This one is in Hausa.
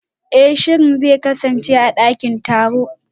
Eh shirin zai kasance a dakin taro